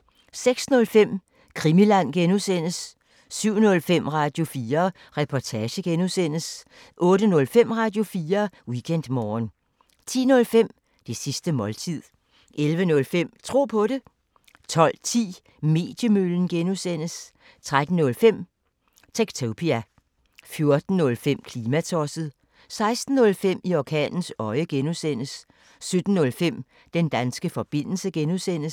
06:05: Krimiland (G) 07:05: Radio4 Reportage (G) 08:05: Radio4 Weekendmorgen 10:05: Det sidste måltid 11:05: Tro på det 12:10: Mediemøllen (G) 13:05: Techtopia 14:05: Klimatosset 16:05: I orkanens øje (G) 17:05: Den danske forbindelse (G)